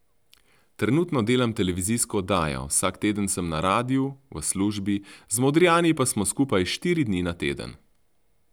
Trenutno delam televizijsko oddajo, vsak teden sem na radiu, v službi, z Modrijani pa smo skupaj štiri dni na teden.